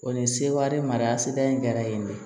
O ni seware mara seta ye kɛra yen de